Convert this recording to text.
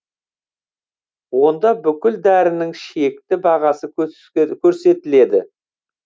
онда бүкіл дәрінің шекті бағасы көрсетіледі